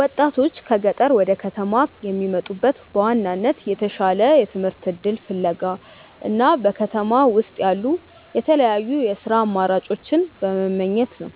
ወጣቶች ከገጠር ወደ ከተማ የሚመጡት በዋናነት የተሻለ የትምህርት እድል ፍለጋ እና በከተማ ውስጥ ያሉ የተለያዩ የሥራ አማራጮችን በመመኘት ነው።